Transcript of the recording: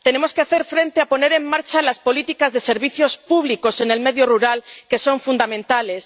Tenemos que poner en marcha las políticas de servicios públicos en el medio rural, que son fundamentales.